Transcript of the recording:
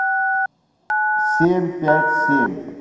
семь пять семь